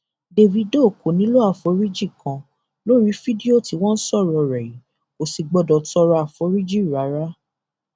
dávido kò nílò àforíjì kan lórí fídíò tí wọn ń sọrọ rẹ yìí kò sì gbọdọ tọrọ àforíjì rárá